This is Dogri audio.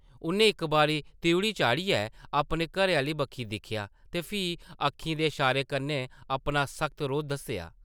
उʼन्नै इक बारी त्रिउढ़ी चाढ़ियै अपने घरै-आह्ले बक्खी दिक्खेआ ते फ्ही अक्खीं दे शारे कन्नै अपना सख्त रोह् दस्सेआ ।